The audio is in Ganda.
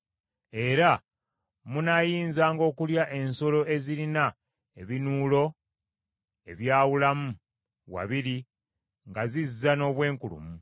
Era munaayinzanga okulya ensolo ezirina ebinuulo ebyawulamu wabiri nga zizza n’obwenkulumu.